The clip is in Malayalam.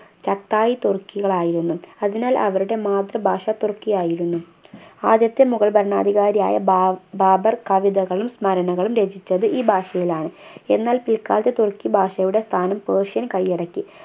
സത്തായി തുർക്കികളായിരുന്നു അതിനാൽ അവരുടെ മാതൃഭാഷ തുർക്കി ആയിരുന്നു ആദ്യത്തെ മുഗൾ ഭരണാധികാരിയായ ബാബ് ബാബർ കവിതകളും സ്മരണകളും രചിച്ചത് ഈ ഭാഷയിലാണ് എന്നാൽ പിൽക്കാലത്ത് തുർക്കി ഭാഷയുടെ സ്ഥാനം persian കയ്യടക്കി